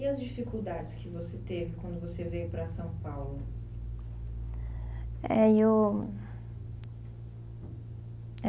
E as dificuldades que você teve quando você veio para São Paulo? É e eu